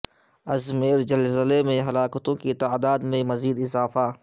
Izmir زلزلے میں ہلاکتوں کی تعداد میں مزید اضافہ